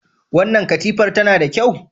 Wannan katifar tana da kyau?